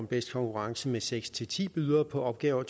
bedste konkurrence med seks ti ti bydere på opgaver